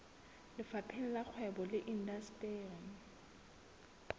lefapheng la kgwebo le indasteri